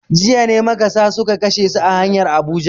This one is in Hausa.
Jiya ne makasa suka kashe su a hanyar Abuja.